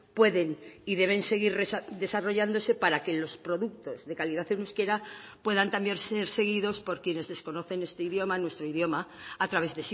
pueden y deben seguir desarrollándose para que los productos de calidad en euskera puedan también ser seguidos por quienes desconocen este idioma nuestro idioma a través